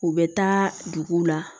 U bɛ taa duguw la